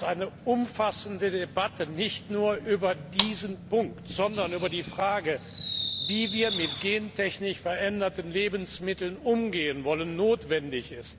Eine umfassende Debatte, nicht nur über diesen Punkt, sondern über die Frage, wie wir mit gentechnisch veränderten Lebensmitteln umgehen wollen, ist notwendig.